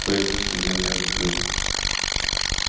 твои мысли для меня закрыты